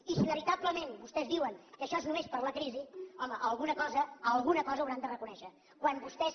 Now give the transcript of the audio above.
i si veritablement vostès diuen que això és només per la crisi home alguna cosa alguna cosa hauran de reconèixer quan vostès